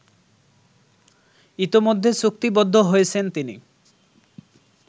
ইতোমধ্যে চুক্তিবদ্ধ হয়েছেন তিনি